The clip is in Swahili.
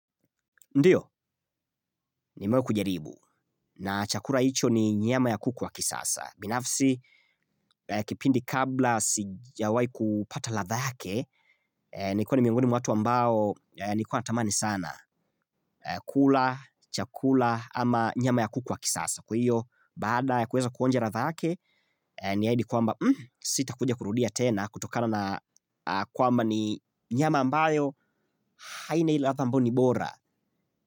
Ndiyo, nimewahi kujaribu. Na chakula hicho ni nyama ya kuku wa kisasa. Binafsi, kipindi kabla sijawahi kupata latha yake, nikua ni miongoni mwa watu ambao nikua tamani sana. Kula, chakula, ama nyama ya kuku wa kisasa. Kwa hiyo, baada ya kuweza kuonja latha yake, niahidi kwamba sitakuja kurudia tena kutokana na kwamba ni nyama ambayo haina ile latha ambao ni bora.